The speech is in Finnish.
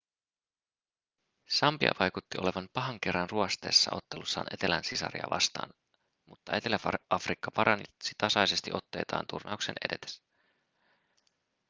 sambia vaikutti olevan pahan kerran ruosteessa ottelussaan etelän sisariaan vastaan mutta etelä-afrikka paransi tasaisesti otteitaan turnauksen edetessä